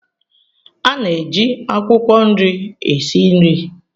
A na-eji akwukwo nri esi nri.